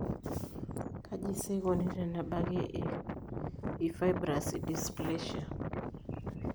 Kaji sa eikoni tenebaki eFibrous edysplasia?